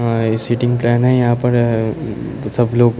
आ ए सिटिंग कर ने यहाँ पर अ अ सब लोग--